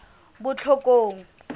botlhokong